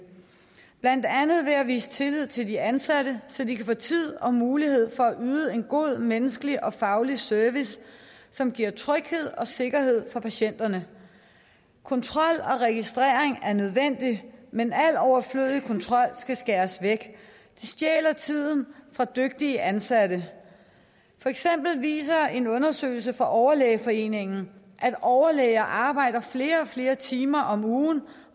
blandt andet gøre ved at vise tillid til de ansatte så de kan få tid og mulighed for at yde en god menneskelig og faglig service som giver tryghed og sikkerhed for patienterne kontrol og registrering er nødvendigt men al overflødig kontrol skal skæres væk det stjæler tiden fra dygtige ansatte for eksempel viser en undersøgelse fra overlægeforeningen at overlæger arbejder i flere og flere timer om ugen